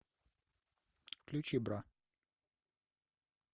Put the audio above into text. включи бра